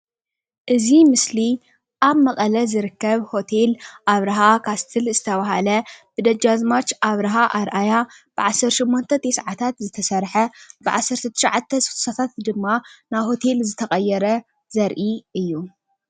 እዚ ምስሊ ኣብ መቀለ ዝርከብ ሆቴል ኣብርሃ ካስትል ዝተባሃለ ብደጃዝማት ኣብረሃ ኣርኣያ ብዓሰርተ ትሽዓተ ሰማንያታት ዝተሰርሐ ብዓሰርተ ትሽዓተ ስሳታት ድማ ናብ ሆቴል ዝተቀየረ ዘርኢ እዩ፡፡